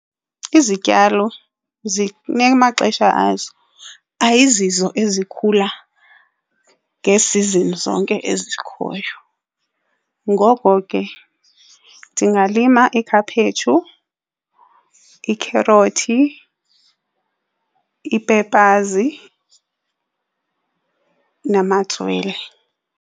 Izityalo zinamaxesha azo, ayizizo ezikhula ngee-seasons zonke ezikhoyo. Ngoko ke ndingalima ikhaphetshu, ikherothi, ii-peppers namatswele.